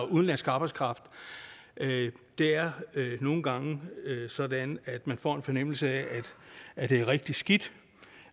udenlandsk arbejdskraft det er nogle gange sådan at man får en fornemmelse af at det er rigtig skidt